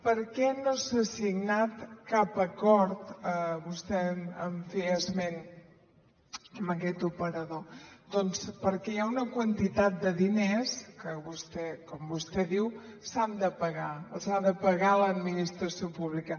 per què no s’ha signat cap acord vostè en feia esment amb aquest operador doncs perquè hi ha una quantitat de diners que com vostè diu s’han de pagar els ha de pagar l’administració pública